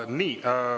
Nii.